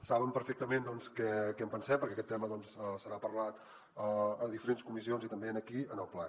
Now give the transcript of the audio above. saben perfectament què en pensem perquè d’aquest tema se n’ha parlat a diferents comissions i també aquí en el ple